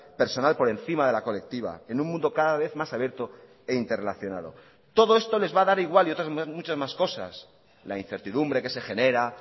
personal por encima de la colectiva en un mundo cada vez más abierto e interrelacionado todo esto les va a dar igual y otras muchas más cosas la incertidumbre que se genera